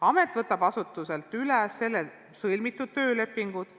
Amet võtab asutuselt üle sõlmitud töölepingud.